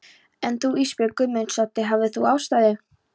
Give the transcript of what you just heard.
En þú Ísbjörg Guðmundsdóttir, hafðir þú ástæðu?